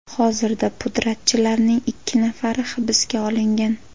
Hozirda pudratchilarning ikki nafari hibsga olingan.